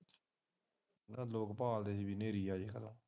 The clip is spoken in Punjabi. ਲੋਕ ਬਾਲਦੇ ਸੀ ਕਿ ਹਨੇਰੀ ਆ ਜਾਵੇ